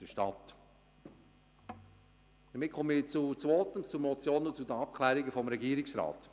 Damit kommen wir zweitens zur Motion und zur Abklärung des Regierungsrats.